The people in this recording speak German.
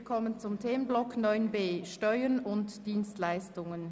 Wir kommen zum Themenblock 9.b, Steuern und Dienstleistungen.